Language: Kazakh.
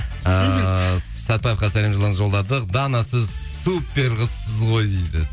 ыыы сәтпаевқа сәлем жолдадық дана сіз суперқызсыз ғой дейді